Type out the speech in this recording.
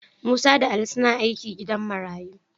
Musa da Ali suna aiki a gidan marayu.